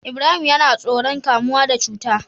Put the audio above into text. Ibrahim yAna tsoron kamuwa da cuta